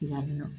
Yan nɔ